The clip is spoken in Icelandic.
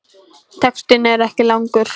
Textinn er ekki langur.